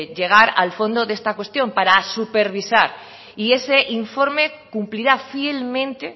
llegar al fondo de esta cuestión para supervisar y ese informe cumplirá fielmente